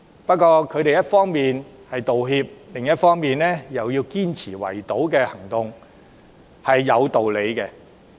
不過，他們一方面道歉，另一方面卻堅持圍堵行動有理。